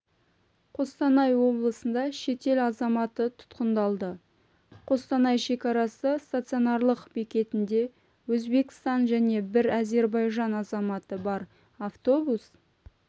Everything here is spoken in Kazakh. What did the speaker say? қостанай облысында шетел азаматы тұтқындалды қостанай шекарасы стационарлық бекетінде өзбекстан және бір әзербайжан азаматы бар автобус